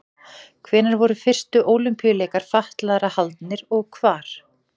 Hvenær voru fyrstu Ólympíuleikar fatlaðra haldnir og hvar?